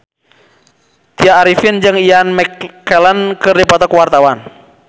Tya Arifin jeung Ian McKellen keur dipoto ku wartawan